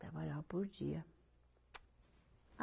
Trabalhava por dia.